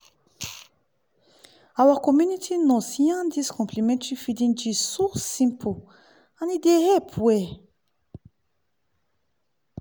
our community nurse yarn dis complementary feeding gist so simple and e dey help well-well walahi.